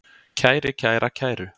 kæri, kæra, kæru